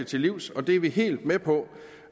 til livs og det er vi helt med på